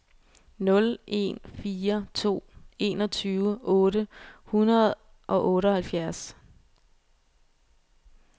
nul en fire to enogtyve otte hundrede og otteoghalvfjerds